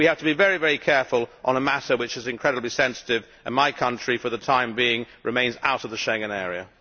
But we have to be very careful on a matter which is incredibly sensitive and my country, for the time being, remains out of the Schengen Area.